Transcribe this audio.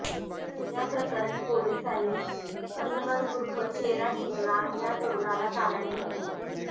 याप्रकरणी पोलिसांनी अजहर उर्फ शेरा चीकना या तरुणाला ताब्यात घेतलं